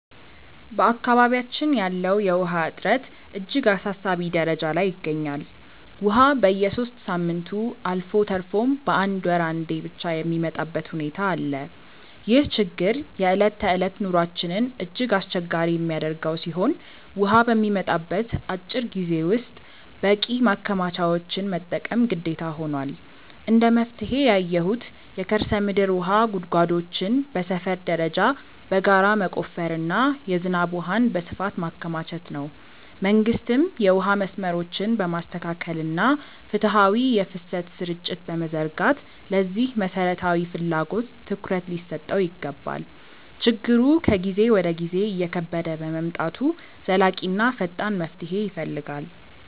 በአካባቢያችን ያለው የውሃ እጥረት እጅግ አሳሳቢ ደረጃ ላይ ይገኛል፤ ውሃ በየሦስት ሳምንቱ አልፎ ተርፎም በአንድ ወር አንዴ ብቻ የሚመጣበት ሁኔታ አለ። ይህ ችግር የዕለት ተዕለት ኑሯችንን እጅግ አስቸጋሪ የሚያደርገው ሲሆን፣ ውሃ በሚመጣበት አጭር ጊዜ ውስጥ በቂ ማከማቻዎችን መጠቀም ግዴታ ሆኗል። እንደ መፍትሄ ያየሁት የከርሰ ምድር ውሃ ጉድጓዶችን በሰፈር ደረጃ በጋራ መቆፈርና የዝናብ ውሃን በስፋት ማከማቸት ነው። መንግስትም የውሃ መስመሮችን በማስተካከልና ፍትሃዊ የፍሰት ስርጭት በመዘርጋት ለዚህ መሠረታዊ ፍላጎት ትኩረት ሊሰጠው ይገባል። ችግሩ ከጊዜ ወደ ጊዜ እየከበደ በመምጣቱ ዘላቂና ፈጣን መፍትሄ ይፈልጋል።